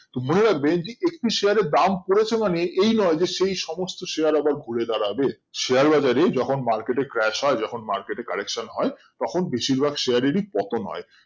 তো মানে হয় একটু Share এর দাম পড়েছে মানে এই না যে সেই সমস্ত Share আবার ঘুরে দাঁড়াবে Share বাজার এ যখন Market এ crash হয় যখন Market এ collection হয় তখন বেশিরভাগ Share এরই পতন হয়